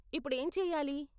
ఇప్పుడేం చెయ్యాలి?